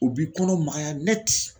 U b'i kɔnɔ magaya